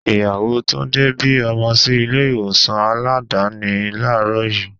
Ìyàwó Túndé bí ọmọ sí ilé ìwòsàn Aládàáni làárọ̀ yii.